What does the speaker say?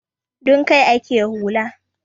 Don kai ake hula.